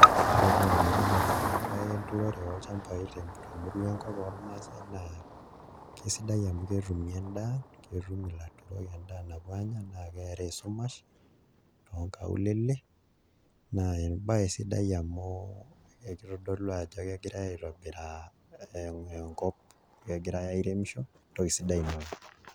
Ore paa enatipat ena baye enturore olchambai temurua enkop ormaasai naa kesidai amu ketumi endaa ketum ilaturok endaa napuo aanya tenaa keeta esumash toonkaulele naa embaye sidai amu ekitodolu ajo kegirai aitobiraa enkop, kegirai airemisho entoki sidai ina oleng'.